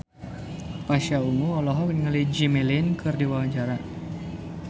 Pasha Ungu olohok ningali Jimmy Lin keur diwawancara